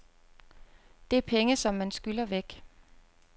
Det er penge, som man skylder væk.